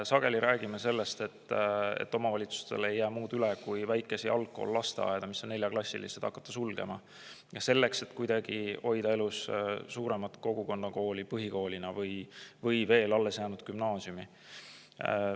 Sageli räägime sellest, et omavalitsustel ei jää muud üle, kui väikesi algkool-lasteaedu, mis on neljaklassilised, hakata sulgema, selleks et kuidagi hoida elus suuremat kogukonna põhikooli või veel alles jäänud gümnaasiumi.